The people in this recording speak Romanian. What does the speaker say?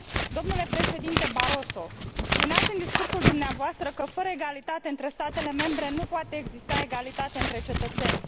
Domnule președinte Barroso, spuneați în discursul dumneavoastră că, fără egalitate între statele membre, nu poate exista egalitate între cetățeni.